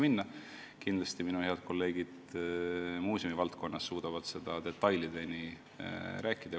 Kindlasti suudavad minu head kolleegid muuseumivaldkonnast sellest detailideni rääkida.